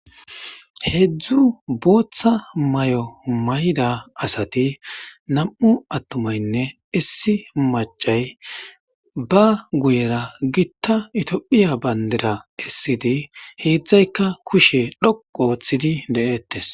Hezdzdu botha mayo mayida asati namu ayumayinne issi machayi ba guyera gita tophphiya bandira kezidi hedhayikka kushe dhoqu ooththidi detesi